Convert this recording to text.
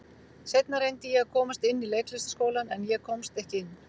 Seinna reyndi ég að komast inn í Leiklistarskólann, en ég komst ekki inn.